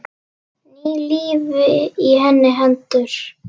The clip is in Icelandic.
Ný lífi í hendur hennar.